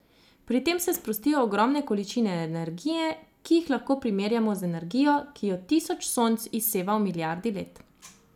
Pri tem se sprostijo ogromne količine energije, ki jih lahko primerjamo z energijo, ki jo tisoč Sonc izseva v milijardi let.